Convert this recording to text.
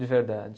De verdade.